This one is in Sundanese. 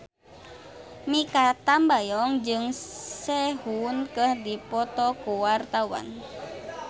Mikha Tambayong jeung Sehun keur dipoto ku wartawan